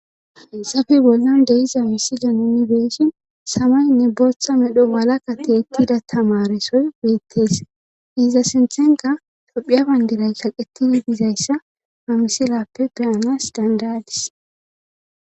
Haysafe bollan deiza missida nuni beeshin samaynne booththa medho walakate ettida tamaresoy weettes iza sinthenka tophiya bandiray kaqetidi dizayssa hamisilappe beyanas dandadis